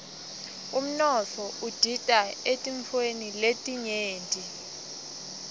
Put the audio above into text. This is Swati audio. umnotfo udita eetintfweni letinyenti